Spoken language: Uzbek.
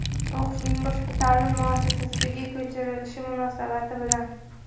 O‘qishning boshqa ta’lim muassasasiga ko‘chirilishi munosabati bilan;.